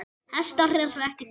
Hestar eru ekki til.